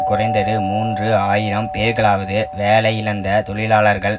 குறைந்தது மூன்று ஆயிரம் பேர்களாவது வேலையிழந்த தொழிலாளர்கள்